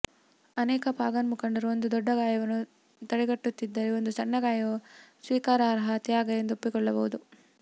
ಅನೇಕ ಪಾಗನ್ ಮುಖಂಡರು ಒಂದು ದೊಡ್ಡ ಗಾಯವನ್ನು ತಡೆಗಟ್ಟುತ್ತಿದ್ದರೆ ಒಂದು ಸಣ್ಣ ಗಾಯವು ಸ್ವೀಕಾರಾರ್ಹ ತ್ಯಾಗ ಎಂದು ಒಪ್ಪಿಕೊಳ್ಳಬಹುದು